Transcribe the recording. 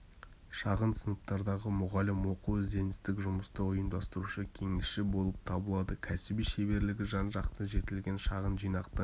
шағын сыныптардағы мұғалім оқу ізденістік жұмысты ұйымдастырушы кеңесші болып табылады кәсіби шеберлігі жан-жақты жетілген шағын жинақты